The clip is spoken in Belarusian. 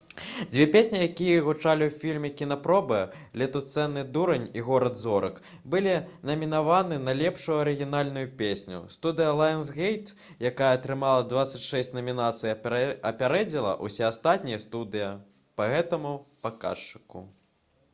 дзве песні якія гучалі ў фільме «кінапробы» «летуценны дурань» і «горад зорак» былі намінаваны на лепшую арыгінальную песню. студыя «лаенсгейт» якая атрымала 26 намінацый апярэдзіла ўсе астатнія студыі па гэтаму паказчыку